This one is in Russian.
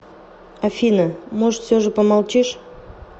афина может все же помолчишь